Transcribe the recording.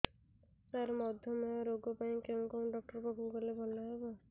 ସାର ମଧୁମେହ ରୋଗ ପାଇଁ କେଉଁ ଡକ୍ଟର ପାଖକୁ ଗଲେ ଭଲ ହେବ